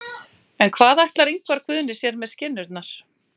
En hvað ætlar Ingvar Guðni sér með skinnurnar?